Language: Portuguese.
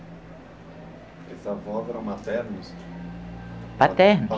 Esses avós eram maternos? Paternos.